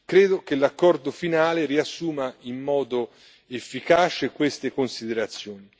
Credo che l'accordo finale riassuma in modo efficace queste considerazioni.